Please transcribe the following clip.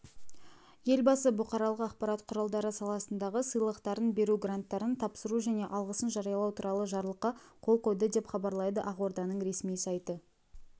елбасы бұқаралық ақпарат құралдары саласындағы сыйлықтарын беру гранттарын тапсыру және алғысын жариялау туралы жарлыққа қол қойды деп хабарлайды ақорданың ресми сайты